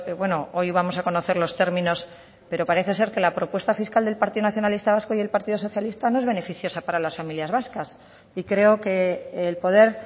bueno hoy vamos a conocer los términos pero parece ser que la propuesta fiscal del partido nacionalista vasco y el partido socialista no es beneficiosa para las familias vascas y creo que el poder